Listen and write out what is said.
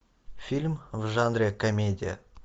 фильм в жанре комедия